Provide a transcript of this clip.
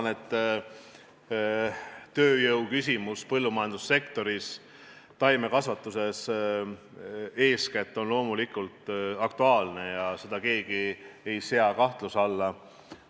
Ma arvan, et tööjõuküsimus põllumajandussektoris, taimekasvatuses eeskätt, on loomulikult aktuaalne, seda keegi kahtluse alla ei sea.